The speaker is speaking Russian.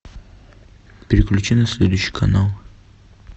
переключи на следующий канал